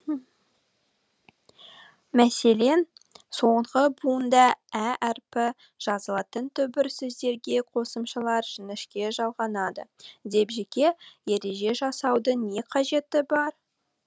мәселен соңғы буынында ә әрпі жазылатын түбір сөздерге қосымшалар жіңішке жалғанады деп жеке ереже жасаудың не қажеті бар